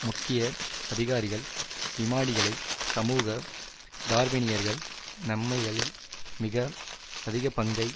முக்கிய அதிகாரிகள் விமானிகளை சமூக டார்வினியர்கள் நன்மைகளில் மிக அதிகப்பங்கை